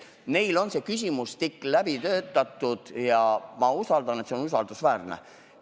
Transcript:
Neil on küsimustik läbi töötatud ja ma usun, et see on usaldusväärne.